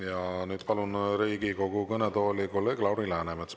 Ja nüüd palun Riigikogu kõnetooli kolleeg Lauri Läänemetsa.